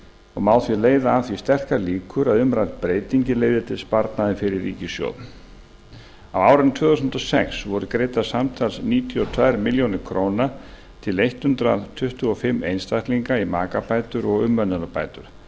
og má því leiða að því sterkar líkur að umrædd breyting leiði til sparnaðar fyrir ríkissjóð á árinu tvö þúsund og sex voru greiddar samtals níutíu og tvær milljónir króna til hundrað tuttugu og fimm einstaklinga í makabætur og umönnunarbætur